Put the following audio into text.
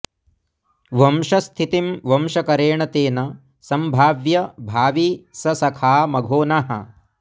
वंशस्थितिं वंशकरेण तेन संभाव्य भावी स सखा मघोनः